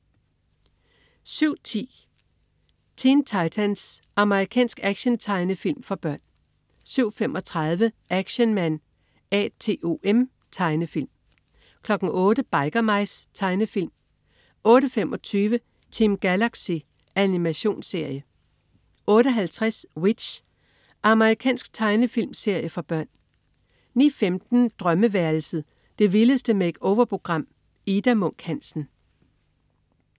07.10 Teen Titans. Amerikansk actiontegnefilm for børn 07.35 Action Man A.T.O.M. Tegnefilm 08.00 Biker Mice. Tegnefilm 08.25 Team Galaxy. Animationsserie 08.50 W.i.t.c.h. Amerikansk tegnefilmserie for børn 09.15 Drømmeværelset. Det vildeste make-over-program. Ida Munk Hansen